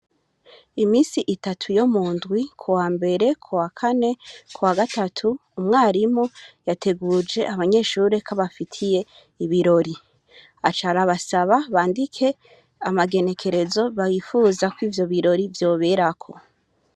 Imisi itatu yo mundwi, kuwambere, kuwakane, kuwagatatu, umwarimu yateguje abanyeshure ko abafitiye ibirori. Aca arabasaba bandike amagenekerezo bifuzako ivyo birori vyoberako.